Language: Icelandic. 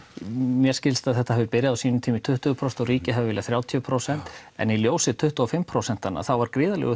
mér skilst að þetta hafi byrjað á sínum tíma í tuttugu prósent og ríkið hafi viljað þrjátíu prósent en í ljósi tuttugu og fimm prósent þá var gríðarlegur